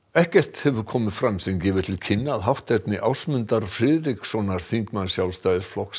ekkert hefur komið fram sem gefur til kynna að hátterni Ásmundar Friðrikssonar þingmanns Sjálfstæðisflokks